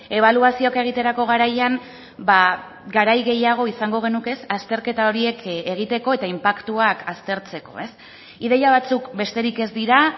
ebaluazioak egiterako garaian garai gehiago izango genuke azterketa horiek egiteko eta inpaktuak aztertzeko ideia batzuk besterik ez dira